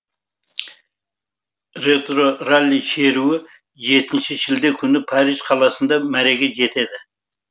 ретро ралли шеруі жетінші шілде күні париж қаласында мәреге жетеді